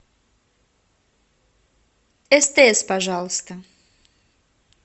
стс пожалуйста